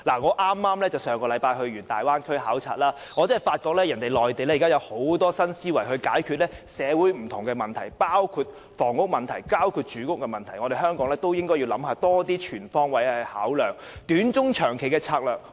我上星期剛到大灣區考察，發覺內地利有很多新思維解決社會上的不同問題，包括房屋和住屋問題，所以香港也應該全方位地考量短、中、長期的策略。